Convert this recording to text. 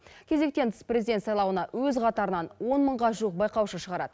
кезектен тыс президент сайлауына өз қатарынан он мыңға жуық байқаушы шығарады